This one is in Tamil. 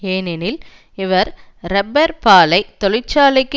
ஏனெனில் அவர் இறப்பர் பாலை தொழிற்சாலைக்கு